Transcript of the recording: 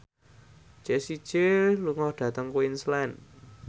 Jessie J lunga dhateng Queensland